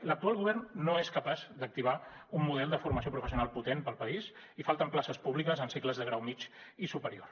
l’actual govern no és capaç d’activar un model de formació professional potent per al país i falten places públiques en cicles de grau mitjà i superior